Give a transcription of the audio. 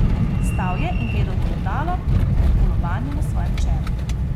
Stal je in gledal v ogledalo, v lobanjo na svojem čelu.